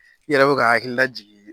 I yɛrɛ be ka hakili lajigi